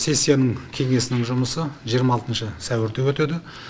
сессияның кеңесінің жұмысы жиырма алтыншы сәуірде өтеді